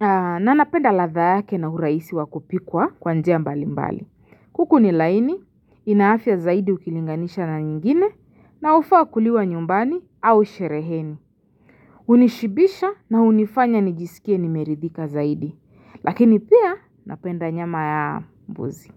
na napenda ladha yake na uraisi wakupikwa kwa njia mbali mbali. Kuku ni laini, ina afia zaidi ukilinganisha na nyingine na hufaa kuliwa nyumbani au shereheni. Unishibisha na hunifanya nijisikie nimeridhika zaidi. Lakini pia napenda nyama ya mbuzi.